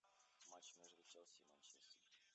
матч между челси и манчестер